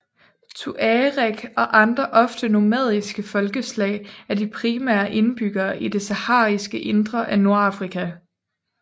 Tuareg og andre ofte nomadiske folkeslag er de primære indbyggere i det sahariske indre af Nordafrika